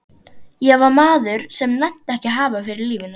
Ég var maður sem nennti ekki að hafa fyrir lífinu.